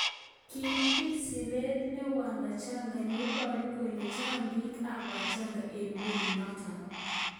Kibit siret ne Wadschagga neiboru kole chang bik ab Wachaga eng melinotok.